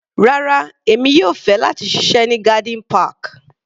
Rárá, èmi yóò fẹ́ láti ṣiṣẹ́ ní garden park.